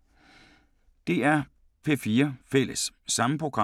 DR P4 Fælles